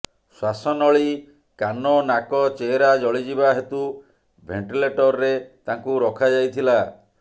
ଶ୍ୱାସନଳୀ କାନ ନାକ ଚେହେରା ଜଳିଯିବା ହେତୁ ଭେଣ୍ଟିଲେଟରରେ ତାଙ୍କୁ ରଖାଯାଇଥିଲା